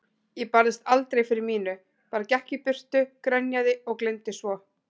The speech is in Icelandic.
Ég barðist aldrei fyrir mínu, bara gekk í burtu, grenjaði og gleymdi svo.